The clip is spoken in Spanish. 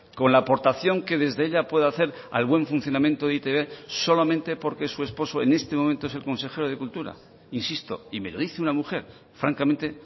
con la aportación que desde ella puede hacer al buen funcionamiento de e i te be solamente porque su esposo en este momento es el consejero de cultura insisto y me lo dice una mujer francamente